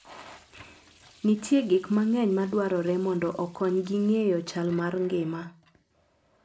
Nitie gik mang'eny madwarore mondo okonygi ng'eyo chal mar ngima.